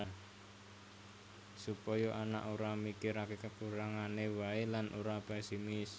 Supaya anak ora mikirake kekurangane wae lan ora pesimis